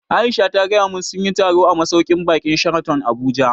Aisha ta gaya mun sunyi taro a masauƙin baƙin Sheraton Abuja